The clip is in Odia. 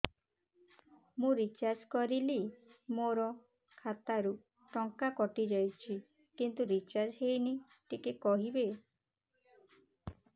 ମୁ ରିଚାର୍ଜ କରିଲି ମୋର ଖାତା ରୁ ଟଙ୍କା କଟି ଯାଇଛି କିନ୍ତୁ ରିଚାର୍ଜ ହେଇନି ଟିକେ କହିବେ